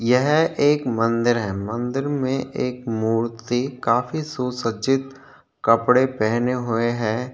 यह एक मंदिर है. मंदिर में एक मूर्ति काफी सु सज्जित कपड़े पहने हुए है।